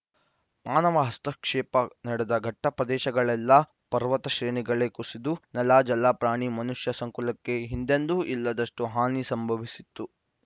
ಮಾನವ ಹಸ್ತಕ್ಷೇಪ ನಡೆದ ಘಟ್ಟಪ್ರದೇಶಗಳಲ್ಲೆಲ್ಲ ಪರ್ವತ ಶ್ರೇಣಿಗಳೇ ಕುಸಿದು ನೆಲ ಜಲ ಪ್ರಾಣಿ ಮನುಷ್ಯ ಸಂಕುಲಕ್ಕೆ ಹಿಂದೆಂದೂ ಇಲ್ಲದಷ್ಟುಹಾನಿ ಸಂಭವಿಸಿತ್ತು